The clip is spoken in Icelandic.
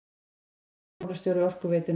Nýr fjármálastjóri Orkuveitunnar